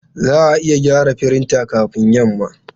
Za a iya gyara firinta kafin yamma?